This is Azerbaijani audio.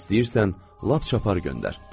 İstəyirsən, lap çapar göndər.